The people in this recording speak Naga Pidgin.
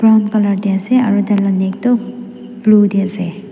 brown colour tae ase aru tai la neck toh blue tae ase.